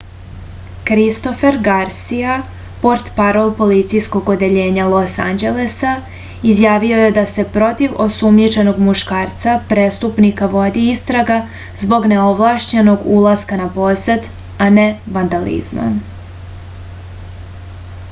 kristofer garsija portparol policijskog odeljenja los anđelesa izjavio je da se protiv osumnjičenog muškarca prestupnika vodi istraga zbog neovlašćenog ulaska na posed a ne vandalizma